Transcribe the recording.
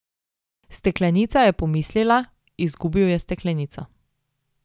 Steklenica, je pomislila, izgubil je steklenico.